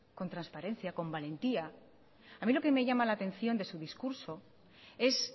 con transparencia con valentía a mí lo que me llama la atención de su discurso es